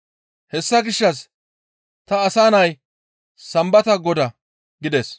Hessa gishshas ta Asa Nay Sambata godaa» gides.